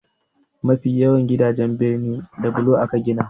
Mafi yawancin gidajen birnin da bulo aka gina.